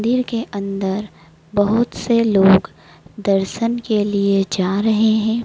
दिल के अंदर बहुत से लोग दर्शन के लिए जा रहे हैं।